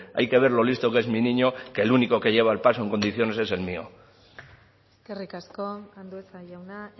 hay que ver lo listo que es mi niño que el único que lleva el paso en condiciones es el mío eskerrik asko andueza jauna